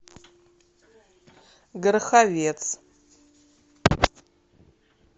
гороховец